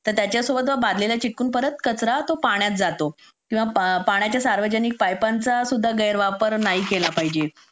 तर च्यासोबत बादलीला चीटकून परत कचरा तो पाण्यात जातो मग पाण्याच्या सार्वजनिक पाईपांचा सुद्धा गैरवापर नाही केला पाहिजे